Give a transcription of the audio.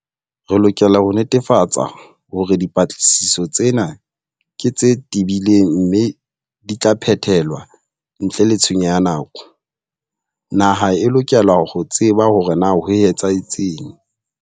Re lokela ho netefatsa hore dipatlisiso tsena ke tse tebileng mme di tla phethelwa ntle le tshenyo ya nako. Naha e lokela ho tseba ho re na ho etsahetseng.